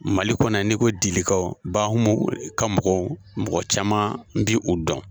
Mali kɔnɔ ni ko dilikaw Bahumu ka mɔgɔw, mɔgɔ caman bi u dɔn.